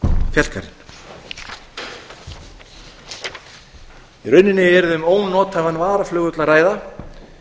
skálafellsfjallgarðinn í rauninni yrði um ónothæfan varaflugvöll að ræða